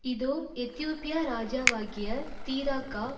இதோ எத்தியோப்பியா ராஜாவாகிய தீராக்கா